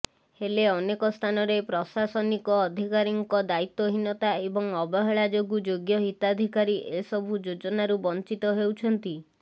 ହେଲେ ଅନେକ ସ୍ଥାନରେ ପ୍ରଶାସନୀକ ଅଧିକାରୀଙ୍କ ଦାୟୀତ୍ୱହୀନତା ଏବଂ ଅବହେଳା ଯୋଗୁଁ ଯୋଗ୍ୟ ହିତାଧିକାରୀ ଏସବୁ ଯୋଜନାରୁ ବଞ୍ଚିତ ହେଉଛନ୍ତି